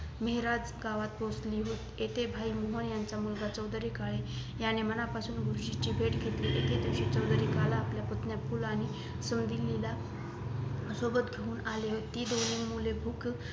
मेहरात गावात पोहचली इथे भाई मौमा यांचा मूलागा चौधरी काळे यांनी मनापासून गुरुजींची भेट घेतली चौधरी काळे आपल्या पुतण्या फुल आनि सुंधीली सोबत घेऊन आले होते ती मुले भूक